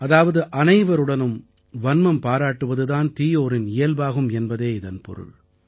அதாவது அனைவருடனும் வன்மம் பாராட்டுவது தான் தீயோரின் இயல்பாகும் என்பதே இதன் பொருள்